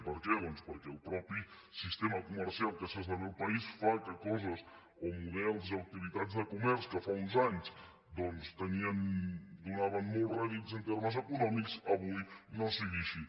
per què doncs perquè el mateix sistema comercial que s’esdevé al país fa que coses o models o activitats de comerç que fa uns anys donaven molts rèdits en termes econòmics avui no sigui així